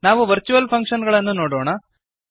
ನಾವು virtual function ಗಳನ್ನು ನೋಡೋಣ